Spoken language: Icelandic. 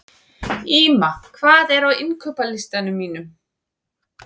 Ýma, hvað er á innkaupalistanum mínum?